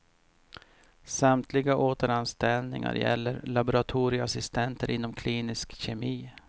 Samtliga återanställningar gäller laboratorieassistenter inom klinisk kemi.